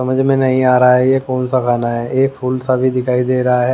समझ में नहीं आ रहा है ये कौन सा खाना है एक फूल सा भी दिखाई दे रहा है ।